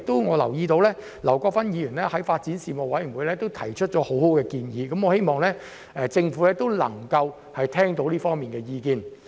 我留意到劉國勳議員曾在發展事務委員會就此事提出很好的建議，我希望政府能夠聽到這方面的意見。